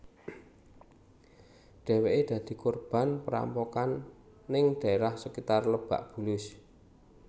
Dheweké dadi korban perampokan ning daerah sakitar Lebak Bulus